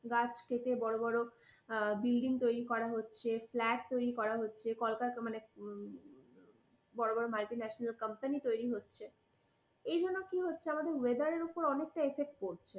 গাছ কেটে বড় বড় building তৈরি করা হচ্ছে flat তৈরি করা হচ্ছে । কলকারখানা মানে, বড় বড় multinational company তৈরি হচ্ছে। এইজন্য কি হচ্ছে, আমাদের weather এর ওপর effect পড়ছে।